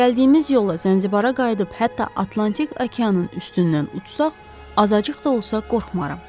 Əgər gəldiyimiz yolla Zənzibara qayıdıb hətta Atlantik okeanın üstündən uçsaq, azacıq da olsa qorxmaram.